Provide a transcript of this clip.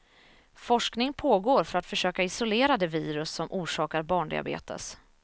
Forskning pågår för att försöka isolera det virus som orsakar barndiabetes.